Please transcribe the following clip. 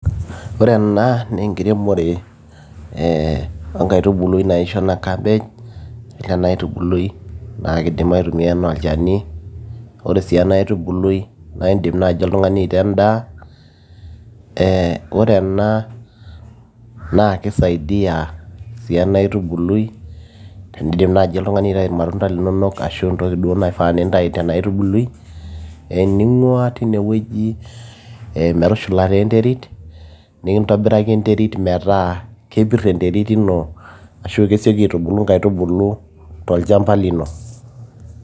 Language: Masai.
ore ena naa enkiremore ee enkaitubului naji shona cabbage ore ena aitubului naa kidim aitumia enaa olchani ore sii ena aitubului naa indim oltung'ani aitaa endaa ee ore ena naa kisaidiyia sii ena aitubului tenindim naaji oltung'ani aitayu irmatunda linonok ashu entoki duo naifaa nintayu tena aitubului ening'ua tinewueji metushulata enterit nikintobiraki enterit metaa kepirr enterit ino ashu kesioki aitubulu inkaitubulu tolchamba lino.